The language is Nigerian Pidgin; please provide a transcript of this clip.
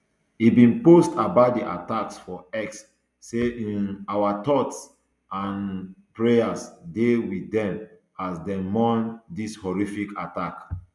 e bin post about di attacks for x say um our thoughts and um prayers dey wit dem as dem mourn dis horrific attack